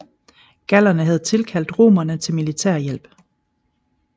Gallerne havde tilkaldt romerne til militær hjælp